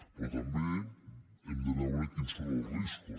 però també hem de veure quins són els riscos